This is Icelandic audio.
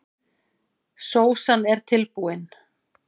Sósan er tilbúin.